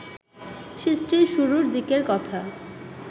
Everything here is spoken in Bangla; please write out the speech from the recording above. সৃষ্টির শুরুর দিকের কথা